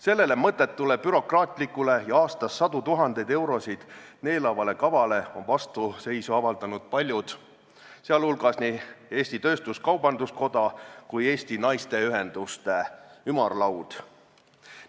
Sellele mõttetule, bürokraatlikule ja aastas sadu tuhandeid eurosid neelavale kavale on vastuseisu avaldanud paljud, sh nii Eesti Kaubandus-Tööstuskoda kui Eesti Naisteühenduste Ümarlaud.